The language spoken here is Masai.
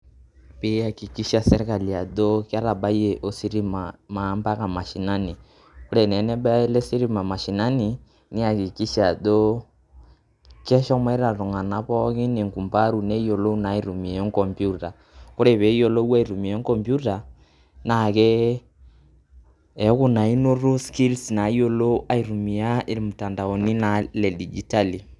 Pi eakikisha sirkali ajo ketabayie ositima naa mpaka mashinani. Ore naa enebaya ele sitima mashinani ,niakikisha ajo keshomoita iltung'anak pookin enkumbaru neyiolou naa aitumia enkompiuta. Ore peyiolou aitumia enkompiuta, na kee eeku na noto skills nayiolo aitumia ilmtandaoni na le dijitali.